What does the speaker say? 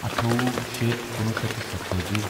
اَٹھووُہ شےٚ کُنوُہ شیٚتھ تہٕ ستتٲجی